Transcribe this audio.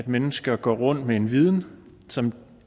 mennesker går rundt med en viden som